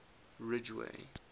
ridgeway